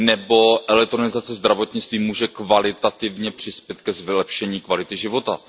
Nebo elektronizace zdravotnictví může kvalitativně přispět k vylepšení kvality života.